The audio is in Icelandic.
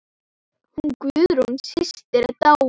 Hún Guðrún systir er dáin.